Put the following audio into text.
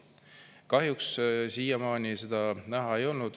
Kahjuks siiamaani seda näha ei ole olnud.